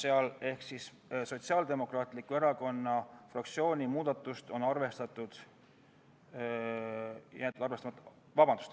Igal juhul, Sotsiaaldemokraatliku Erakonna fraktsiooni muudatus on jäetud arvestamata.